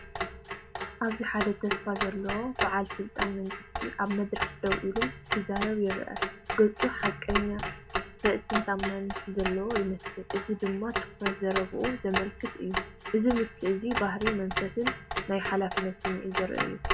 ኣብዚ ሓደ ተስፋ ዘለዎ በዓል ስልጣን መንግስቲ ኣብ መድረክ ደው ኢሉ፡ ክዛረብ ይርአ። ገጹ ሓቀኛን ርእሰ ተኣማንነትን ዘለዎ ይመስል፣ እዚ ድማ ትኹረት ዘረባኡ ዘመልክት እዩ። እዚ ምስሊ እዚ ባህርይ መንፈስን ናይ ሓላፍነት ስምዒትን ዘርኢ እዩ።